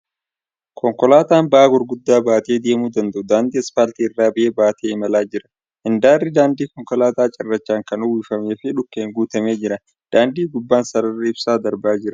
Konkolaataan ba'aa gurguddaabaatee deemuu danda'u daandii aspaaltii irra ba'aa baatee imalaa jir. Handaarri daandii konkolaataa cirraachaan kan uwwifamee fi dhukkeen guutamee jira . Daandii gubbaan sararri ibsaa darbaa jira .